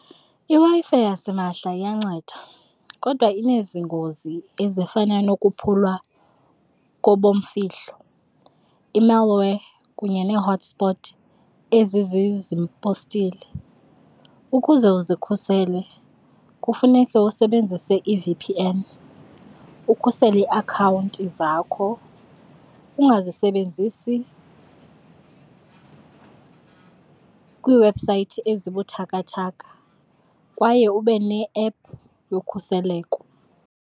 IWi-Fi yasimahla iyanceda kodwa inezingozi ezifana nokuphulwa kobomfihlo, i-malware kunye nee-hotspot ezi . Ukuze uzikhusele kufuneka usebenzise i-V_P_N ukhusele iiakhawunti zakho, ungazisebenzisi kwiiwebhusayithi ezibuthakathaka kwaye ube ne-ephu yokhuseleko.